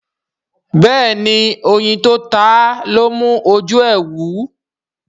béèni oyin tó táa lọ mú oju e wú.